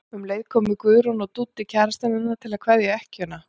Um leið komu Guðrún og Dúddi kærastinn hennar til að kveðja ekkjuna.